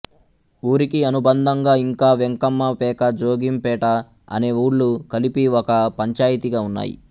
ఊరికి అనుబంధంగా ఇంకా వెంకమ్మపేక జోగింపేట అనే ఊళ్ళు కలిపి ఒక పంచాయితిగా ఉన్నాయి